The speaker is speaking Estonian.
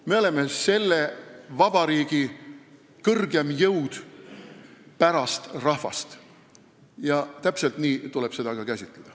Me oleme selle vabariigi kõrgeim jõud pärast rahvast ja täpselt nii tuleb seda ka käsitleda.